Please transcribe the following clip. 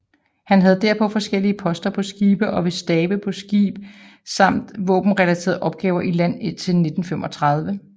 Han havde derpå forskellige poster på skibe og ved stabe på skibe samt våbenrelaterede opgaver i land indtil 1935